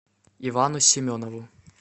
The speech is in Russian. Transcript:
ивану семенову